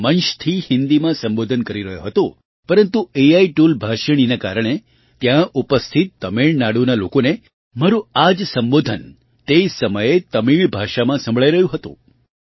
હું મંચથી હિન્દીમાં સંબોધન કરી રહ્યો હતો પરંતુ એઆઈ ટૂલ ભાષિણીના કારણે ત્યાં ઉપસ્થિત તમિળનાડુના લોકોને મારું આ જ સંબોધન તે સમયે તમિળ ભાષામાં સંભળાઈ રહ્યું હતું